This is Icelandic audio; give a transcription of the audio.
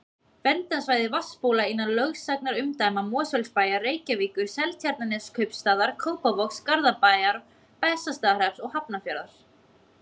Verndarsvæði vatnsbóla innan lögsagnarumdæma Mosfellsbæjar, Reykjavíkur, Seltjarnarneskaupstaðar, Kópavogs, Garðabæjar, Bessastaðahrepps og Hafnarfjarðar.